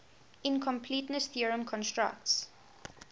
incompleteness theorem constructs